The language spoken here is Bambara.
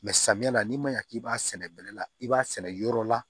samiya na n'i ma ɲa k'i b'a sɛnɛ bɛnɛ la i b'a sɛnɛ yɔrɔ la